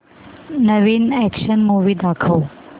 नवीन action movie दाखव